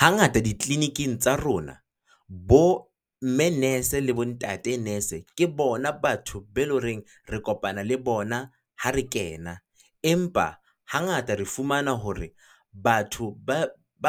Hangata di clinic-ing tsa rona bo mme nurse le bo ntate nurse, ke bona batho be le ho reng re kopana le bona ha re kena. Empa hangata re fumana hore batho ba